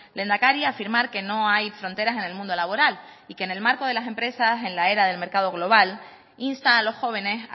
lehendakari afirmar que no hay fronteras en el mundo laboral y que en el marco de las empresas en la era del mercado global insta a los jóvenes